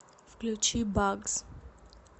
включи багз